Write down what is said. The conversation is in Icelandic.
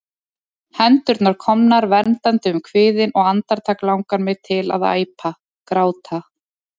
Hendurnar komnar verndandi um kviðinn, og andartak langar mig til að æpa, gráta.